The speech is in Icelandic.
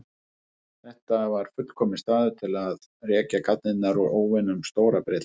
Þetta var fullkominn staður til að rekja garnirnar út óvinum Stóra-Bretlands.